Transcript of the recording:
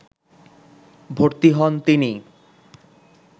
ভর্তি হন তিনি